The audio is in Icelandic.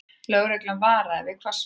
Lögreglan varar við hvassviðri